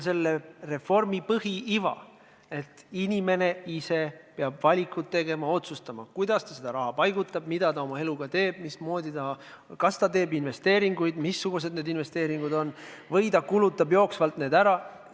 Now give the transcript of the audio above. Selle reformi põhiiva on see, et inimene peab ise valiku tegema, ise otsustama, kuidas ta seda raha paigutab, mida ta oma eluga teeb, kas ta teeb investeeringuid ja missugused need investeeringud on või kulutab ta raha jooksvalt ära.